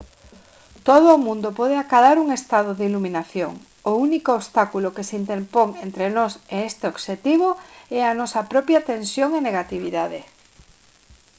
todo o mundo pode acadar un estado de iluminación o único obstáculo que se interpón entre nós e neste obxectivo é a nosa propia tensión e negatividade